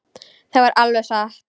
Það var alveg satt.